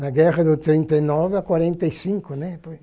Na guerra do trinta e nove ao quarenta e cinco, né?